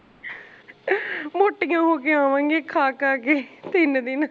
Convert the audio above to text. ਮੋਟੀਆਂ ਹੋਕੇ ਆਵਾਂਗੀਆ ਖਾ ਖਾ ਕੇ ਤਿੰਨ ਦਿਨ